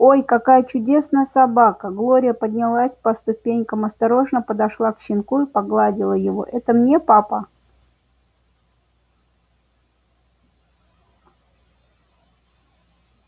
ой какая чудная собака глория поднялась по ступенькам осторожно подошла к щенку и погладила его это мне папа